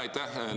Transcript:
Aitäh!